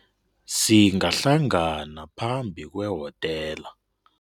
Singahlangana phambi kwehotela.